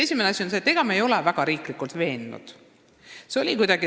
Esimene asi on see, et me ei ole riiklikult kedagi väga veennud.